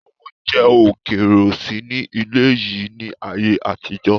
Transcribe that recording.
Oúnjẹ ókéré ó sì ní ilẹ́ yìí ni ayé àtijọ́